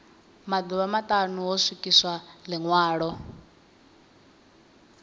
maḓuvha maṱanu ho swikiswa ḽiṅwalo